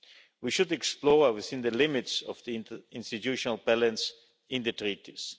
We should explore within the limits of the interinstitutional balance in the Treaties.